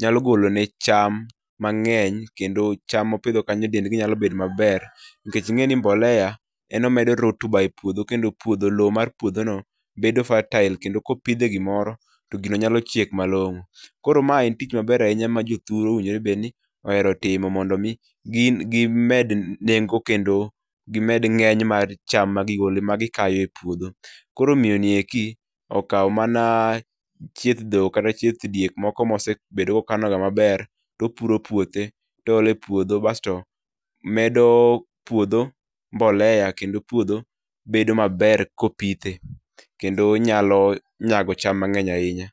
nyalo golo ne cham mangeny kendo cham mopidho kanyo dendgi nyalo bedo maber, nikech ingeni [R]mbolea[R] en omedo rotuba e potdho kendo loo mar puodho no bedo fertile kendo kopidhe gimoro, to gibo nyalo chiek malong'o. Koro ma en tich maber ahinya ma jothurwa owijore obed ni ohero timo mondo mi gi med nengo kendo gimed ngeny mar cham ma gi gole magi kayo e puodho. Koro miyoni eki, okaw mana chieth dhok kata chieth diek moko mosebedo mana kokano maber, to puro puothe to ole puodho basto medo puodho mbolea kendo puodho bedo maber kopithe, kendo puodho nyalo nyago cham maber ahinya.